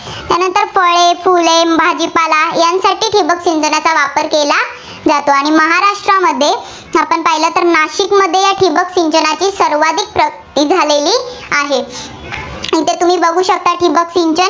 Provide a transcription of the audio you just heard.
फळे, फुले, भाजीपाला यांच्यासाठी ठिबक सिंचनाचा वापर केला जातो. आणि महाराष्ट्रामध्ये आपण पाहिलं तर नाशिकमध्ये या ठिबक सिंचनाची सर्वाधिक ही झालेली आहे. इथं तुम्ही बघू शकता ठिबक सिंचन